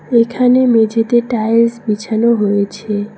এখানে মেঝেতে টাইলস বিছানো হয়েছে।